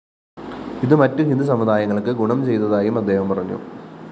ഇതു മറ്റു ഹിന്ദു സമുദായങ്ങള്‍ക്ക് ഗുണം ചെയ്തതായും അദ്ദേഹം പറഞ്ഞു